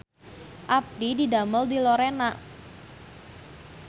Abdi didamel di Lorena